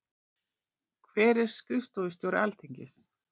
Hver er skrifstofustjóri Alþingis?